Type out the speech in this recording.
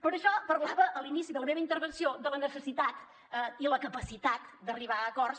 per això parlava a l’inici de la meva intervenció de la necessitat i la capacitat d’arribar a acords